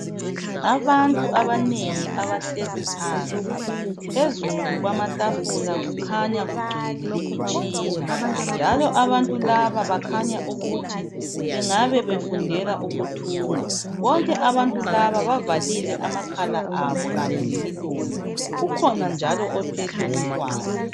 Abantu abanengi abahlezi phansi. Phezu kwamatafula kukhanya kugcwele imitshina njalo abantu laba bakhanya ukuthi bangabe befundela ukuthunga. Bonke abantu laba bavalile amakhala abo kanye lemilomo. Kukhona njalo ophethe umntwana.